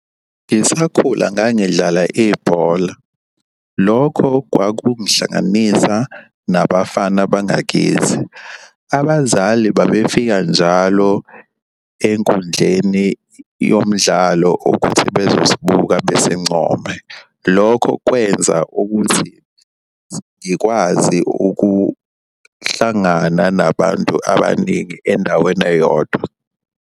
Ngisakhula ngangidlala ibhola, lokho kwakungihlanganisa nabafana bangakithi. Abazali babefika njalo enkundleni yomdlalo ukuthi bezosibuka besincome. Lokho kwenza ukuthi ngikwazi ukuhlangana nabantu abaningi endaweni eyodwa.